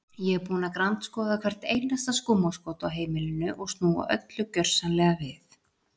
Ég er búin að grandskoða hvert einasta skúmaskot á heimilinu og snúa öllu gjörsamlega við.